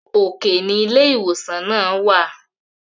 òkè ní ilé ìwòsàn náà wà